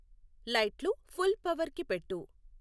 లైట్లు ఫుల్ పవర్కి పెట్టు